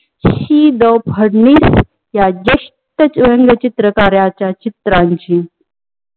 शी द फडणीस या ज्येष्ठ व्यंगचित्रकारांच्या चित्रांची